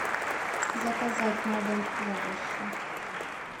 заказать на дом овощи